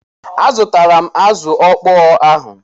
Azụtala m azụ ọkpọọ ahụ.